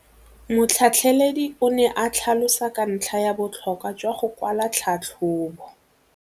Motlhatlheledi o ne a tlhalosa ka ntlha ya botlhokwa jwa go kwala tlhatlhôbô.